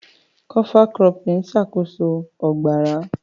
Kọfa kurópìn n ṣákóso ogbarà.